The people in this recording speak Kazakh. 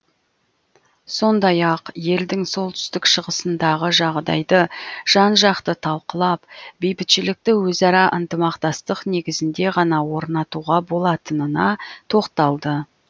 сондай ақ елдің солтүстік шығысындағы жағдайды жан жақты талқылап бейбітшілікті өзара ынтымақтастық негізінде ғана орнатуға болатынына тоқталды